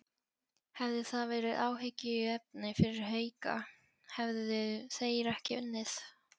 Hefði það verið áhyggjuefni fyrir Hauka, hefðu þeir ekki unnið?